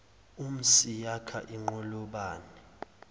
imhsi yakha inqolobane